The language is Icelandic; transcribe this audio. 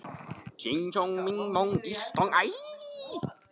Inni jós fyrsta skíma morguns yfir okkur gylltu bliki.